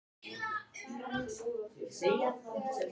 Hvernig er hægt að flaska á svona atriði?